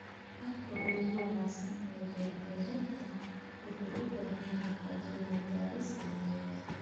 Habka ugu wanaagsan ee beer-beereedka wuxuu u baahan yahay cilmi-baaris cilmiyeed.